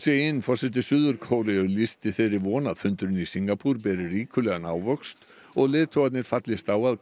in forseti Suður Kóreu lýsti þeirri von að fundurinn í Singapúr beri ríkulegan ávöxt og leiðtogarnir fallist á að